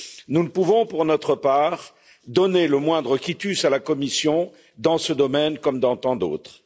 Nous ne pouvons, pour notre part, donner le moindre quitus à la Commission dans ce domaine, comme dans tant d'autres.